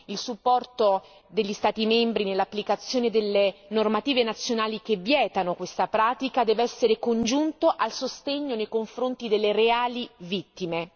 Il supporto degli Stati membri nell'applicazione delle normative nazionali che vietano questa pratica deve essere congiunto al sostegno nei confronti delle reali vittime.